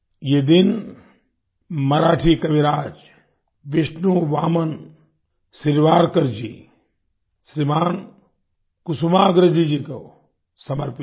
ये दिन मराठी कविराज विष्णु बामन शिरवाडकर जी श्रीमान कुसुमाग्रज जी को समर्पित है